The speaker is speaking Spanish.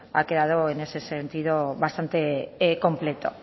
ha quedado en ese sentido bastante completo